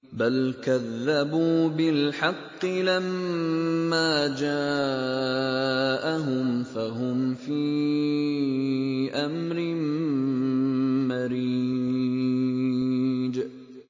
بَلْ كَذَّبُوا بِالْحَقِّ لَمَّا جَاءَهُمْ فَهُمْ فِي أَمْرٍ مَّرِيجٍ